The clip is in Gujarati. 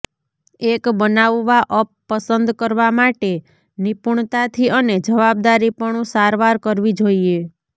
એક બનાવવા અપ પસંદ કરવા માટે નિપુણતાથી અને જવાબદારીપણું સારવાર કરવી જોઈએ